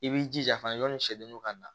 I b'i jija fana jɔni sɛgɛnniw ka na